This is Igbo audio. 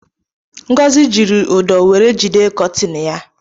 Ngozi ji udo were jide kotina ya